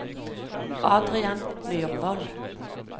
Adrian Myrvold